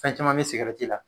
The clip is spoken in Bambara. Fɛn caman bɛ sigarɛti la.